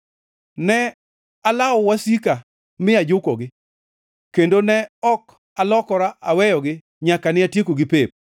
Ne alawo wasika mi ajukogi; kendo ne ok alokora aweyogi nyaka ne atiekogi pep.